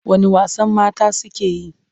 Wane wasan mata suke yi?